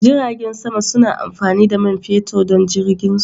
Jiragen sama suna amfani da man fetur don jirginsu.